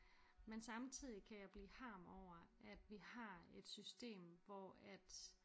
Men samtidig kan jeg blive harm over at vi har et system hvor at